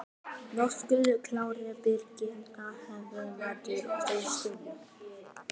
Höskuldur Kári: Birgitta, hvernig metur þú stöðuna?